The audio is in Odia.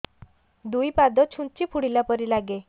ଦୁଇ ପାଦ ଛୁଞ୍ଚି ଫୁଡିଲା ପରି ଲାଗେ